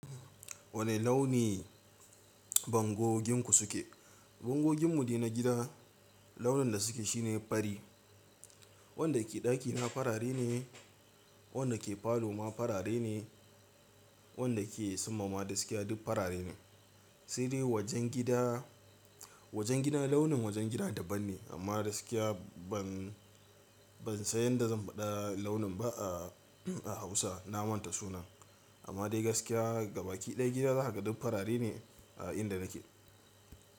Wane launi bangoginku suke? Bangogin mu dai na gida launin da suke shine fari. Wanda ke ɗakina farare ne, wanda ke parlour ma farare ne, wanda ke suma ma gaskiya duk farare ne. Sai de wajen gida wajen gidan launin wajen gida daban ne amma gaskiya ban, ban san yanda zan faɗa launin ba a Hausa. Na manta sunan amma dai gaskiya ga baki ɗaya gida za ka ga duk farare ne a inda nake.